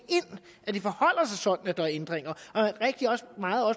at det forholder sig sådan at der er ændringer